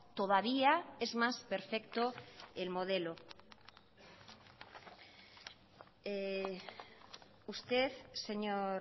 todavía es más perfecto el modelo usted señor